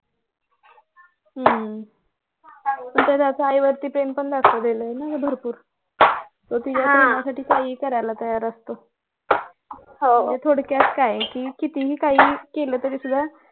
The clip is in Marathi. हम्म पण त्यात त्याच्या आईवरती प्रेम पण दाखवलेलं आहे ना भरपूर तो तिच्यासाठी काहीही करायला तयार असतो म्हणजे थोडक्यात काय आहे कि कितीही काही केलं तरी तुझ्या